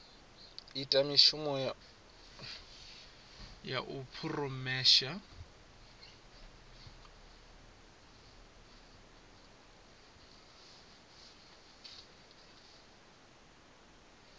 ita mishumo ya u phurosesa